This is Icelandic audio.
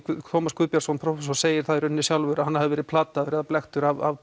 Tómas Guðbjartsson prófessor segir það í rauninni sjálfur að hann hafi verið plataður eða blekktur af